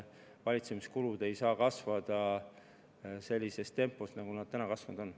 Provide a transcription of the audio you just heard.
Valitsemiskulud ei saa kasvada sellises tempos, nagu nad kasvanud on.